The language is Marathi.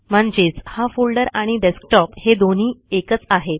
म्हणजेच हा फोल्डर आणि डेस्कटॉप हे दोन्ही एकच आहेत